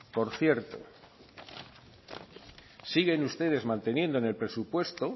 por cierto siguen ustedes manteniendo en el presupuesto